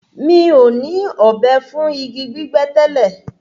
Mi ò ní ọ̀bẹ fún igi gbígbẹ́ tẹ́lẹ̀.